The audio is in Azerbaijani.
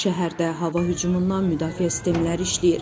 Şəhərdə hava hücumundan müdafiə sistemləri işləyir.